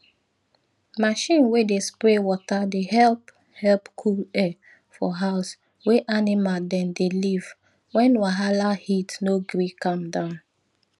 machine wey dey spray water dey help help cool air for house wey animal dem dey live when wahala heat no gree calm down